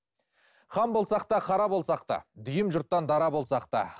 хан болсақ та қара болсақ та дүйім жұрттан дара болсақ та